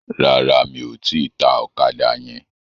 Rárá, mi ò tíì ta ọ̀kadà yẹn.